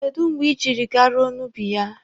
Kedụ mgbe ị jiri garuo n'ubi ya?